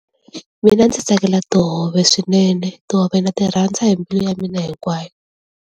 Mina ndzi tsakela tihove swinene tihove na ti rhandza hi mbilu ya mina hinkwayo.